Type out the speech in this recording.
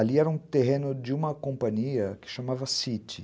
ali era um terreno de uma companhia que chamava City.